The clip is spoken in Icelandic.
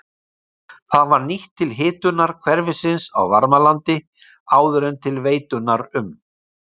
Það var nýtt til hitunar hverfisins á Varmalandi áður en til veitunnar um